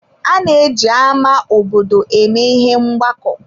Ana eji ámá obodo eme ihe ọgbakọ.